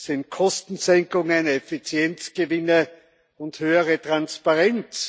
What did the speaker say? sind Kostensenkungen, Effizienzgewinne und höhere Transparenz.